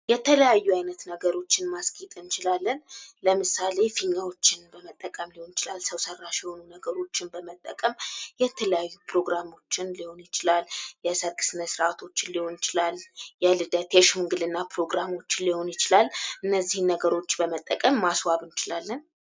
የተለያዩ አይነት ነገሮችን ማስጌጥ እንችላለን። ለምሳሌ ፊኛዎችን በመጠቀም ሊሆን ይችላል። ሰዉ ሰራሽ የሆኑ ነገሮችን በመጠቀም የተለያዩ ፕሮግራሞችን ሊሆን ይችላል። የሰርግ ስነስርዓቶችን ሊሆን ይችላል። የልደት የሽምግልና ፕሮግራሞችን ሊሆን ይችላል። እነዚህን ነገሮች በመጠቀም ማስዋብ እንችላለን።